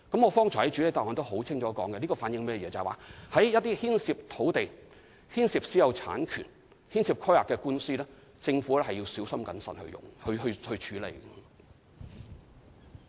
我剛才在主體答覆中已經清楚指出，這反映就一些牽涉土地、私有產權和規劃的官司，政府要小心謹慎處理。